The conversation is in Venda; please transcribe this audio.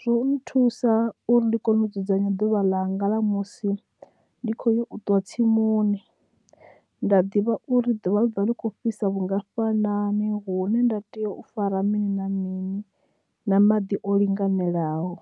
zwo no thusa uri ndi kone u dzudzanya ḓuvha ḽanga ḽa musi ndi khoya u ṱuwa tsimuni nda ḓivha uri ḓuvha ḽi kho fhisa vhungafhani hune nda tea u fara mini na mini na maḓi o linganelaho.